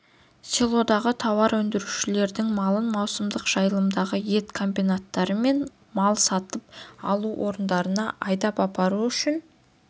селодағы тауар өндірушілердің малын маусымдық жайылымдарға ет комбинаттары мен мал сатып алу орындарына айдап апару үшін